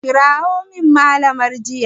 Kira Mallamar jinya!